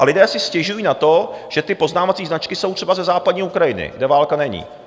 A lidé si stěžují na to, že ty poznávací značky jsou třeba ze západní Ukrajiny, kde válka není.